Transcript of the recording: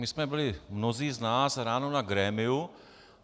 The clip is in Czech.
My jsme byli mnozí z nás ráno na grémiu.